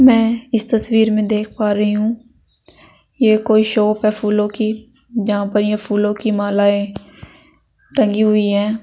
मैं इस तस्वीर में देख पा रही हूं ये कोई शॉप है फूलों की जहां पर ये फूलों की मालाएं टंगी हुई है।